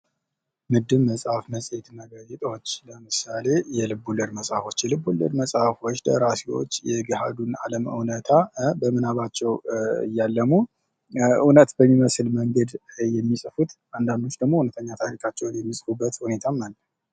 ምድብ መጽሐፍ መጽሔት እና ጋዜጦች ለምሳሌ የልቦለድ መጽሐፎች የልቦለድ መጽሐፎች ደራሲዎች የገሀዱን አለም እውነታ በምናባቸው እያለሙ እውነት በሚመስል መንገድ የሚጽፉት አንዳንዶች ደግሞ እውነተኛ ታሪካቸውን የሚፅፉበት ሁኔታም አለ።